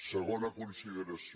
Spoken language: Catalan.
segona consideració